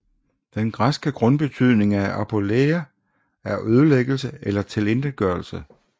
Den græske grundbetydning af apôleia er ødelæggelse eller tilintetgørelse